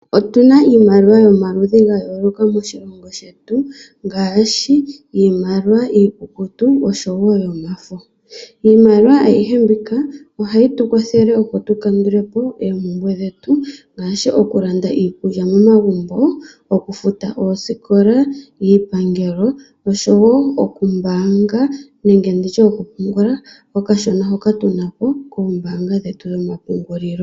Otu na iimaliwa yomaludhi ga yoolokamoshilongo shetu ngaashi iimaliwa iikukutu noshowo yomafo. Iimaliwa ayihe mbika ohayi tu kwathele, opo tu kandule po oompumbwe dhetu ngaashi okulanda iikulya momagumbo, okufuta oosikola, iipangelo oshowo okumbaanga nenge okupungula okashona hoka tu na po koombaanga dhetu dhomapungulilo.